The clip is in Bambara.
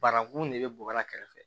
Banakun de bɛ bɔgɔ la kɛrɛfɛ